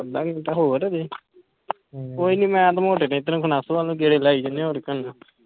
ਅੱਧਾ ਘੰਟਾ ਹੋਰ ਹਲੇ ਕੋਈ ਨਹੀਂ ਮੈ ਤੇ ਮੋਟੇ ਨੇ ਇਧਰੋਂ ਵਲ ਨੂੰ ਗੇੜੇ ਲਾਈ ਜਾਣੇ ਹੋਰ ਕਿ ਕਰਨਾ